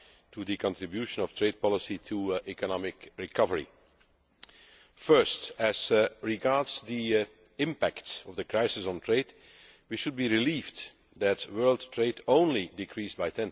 on the contribution of trade policy to economic recovery. First, as regards the impact of the crisis on trade, we should be relieved that world trade only decreased by